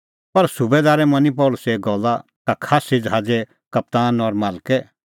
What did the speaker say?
पर सुबैदारै मनी पल़सीए गल्ला का ज़ादी ज़हाज़े कप्तान और मालके